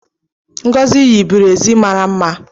Ngozi yi birezi mara mma